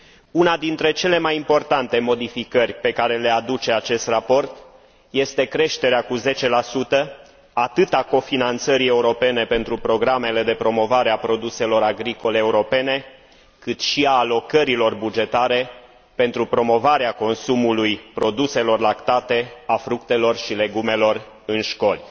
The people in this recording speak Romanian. Una dintre cele mai importante modificări pe care le aduce acest raport este creșterea cu 10 atât a cofinanțării europene pentru programele de promovare a produselor agricole europene, cât și a alocărilor bugetare pentru promovarea consumului produselor lactate, a fructelor și legumelor în școli.